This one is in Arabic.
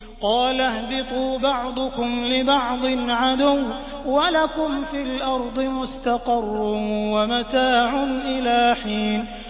قَالَ اهْبِطُوا بَعْضُكُمْ لِبَعْضٍ عَدُوٌّ ۖ وَلَكُمْ فِي الْأَرْضِ مُسْتَقَرٌّ وَمَتَاعٌ إِلَىٰ حِينٍ